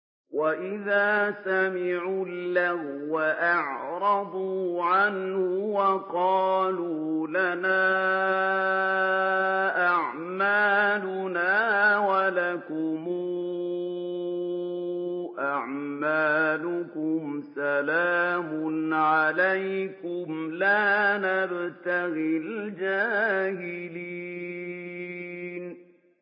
وَإِذَا سَمِعُوا اللَّغْوَ أَعْرَضُوا عَنْهُ وَقَالُوا لَنَا أَعْمَالُنَا وَلَكُمْ أَعْمَالُكُمْ سَلَامٌ عَلَيْكُمْ لَا نَبْتَغِي الْجَاهِلِينَ